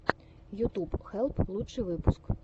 ютуб хелп лучший выпуск